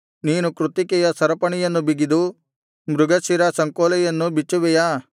ನೀನು ಕೃತ್ತಿಕೆಯ ಸರಪಣಿಯನ್ನು ಬಿಗಿದು ಮೃಗಶಿರದ ಸಂಕೋಲೆಯನ್ನು ಬಿಚ್ಚುವೆಯಾ